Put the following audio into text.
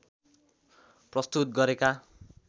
प्रस्तुत गरेका